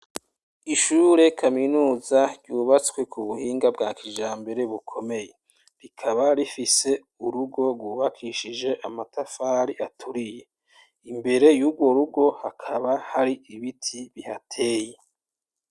Ishuri kaminuza ryubatswe ku buhinga bwa kijambere bukomeye rikaba rifise urugo rwubakishije amatafari aturiye imbere yurwo rugo hakaba hari biti bihateye.